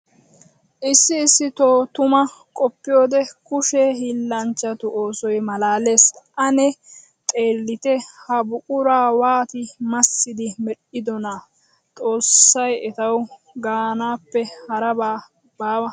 Issi issitto tuma qoppiyoode kushe hiillanchchattu oosoy malaales, ane xeellitte ha buqura waatti massiddi medhdhidonna! Xoosay ettawu gaanappe harabbi baawa.